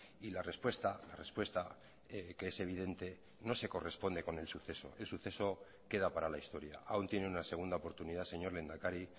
y la respuesta la respuesta que es evidente no se corresponde con el suceso el suceso queda para la historia aún tiene una segunda oportunidad señor lehendakari